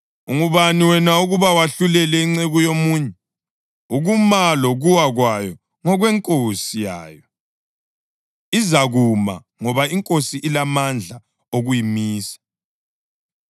Ungubani wena ukuba wahlulele inceku yomunye? Ukuma lokuwa kwayo ngokwenkosi yayo. Izakuma, ngoba iNkosi ilamandla okuyimisa.